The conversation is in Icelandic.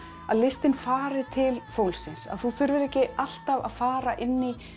að listin fari til fólksins að þú þurfir ekki alltaf að fara inn í